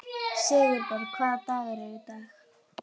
Sigurbjörg, hvaða dagur er í dag?